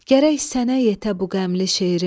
Gərək sənə yetə bu qəmli şeirim.